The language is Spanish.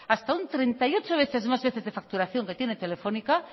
hasta treinta y ocho veces más veces de facturación que tiene telefónica